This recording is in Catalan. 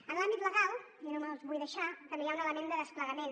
en l’àmbit legal i no me’ls vull deixar també hi ha un element de desplegament